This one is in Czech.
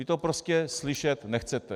Vy to prostě slyšet nechcete.